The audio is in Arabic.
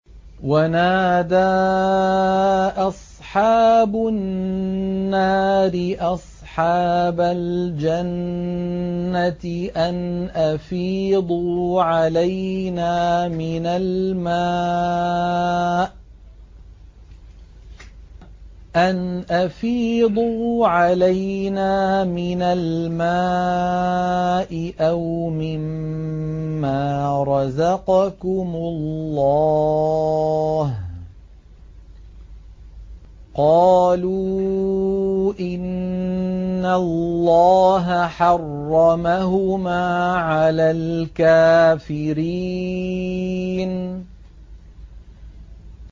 وَنَادَىٰ أَصْحَابُ النَّارِ أَصْحَابَ الْجَنَّةِ أَنْ أَفِيضُوا عَلَيْنَا مِنَ الْمَاءِ أَوْ مِمَّا رَزَقَكُمُ اللَّهُ ۚ قَالُوا إِنَّ اللَّهَ حَرَّمَهُمَا عَلَى الْكَافِرِينَ